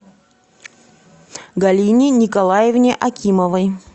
галине николаевне акимовой